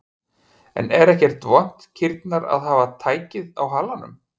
En er ekkert vont kýrnar að hafa tækið á halanum?